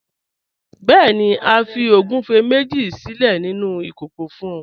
Bẹẹ̀ni, a fi ogúnfẹ méjì sílẹ̀ nínu ikókò fún ọ.